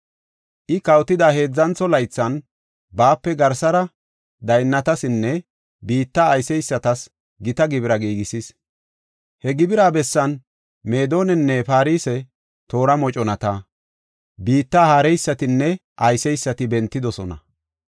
I kawotida heedzantho laythan, baape garsara daynnatasinne biitta ayseysatas gita gibira giigisis. He gibira bessan Meedonanne Farse toora moconati, biitta haareysatinne ayseysati bentidosona.